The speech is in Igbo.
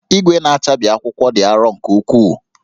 Igwe na-achabi akwụkwọ dị arọ nke ukwuu